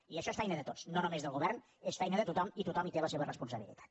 i això és feina de tots no només del govern és feina de tothom i tothom hi té la seva responsabilitat